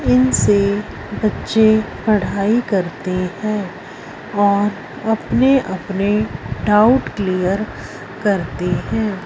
इन से बच्चे पढ़ाई करते हैं और अपने अपने डाउट क्लियर करते हैं।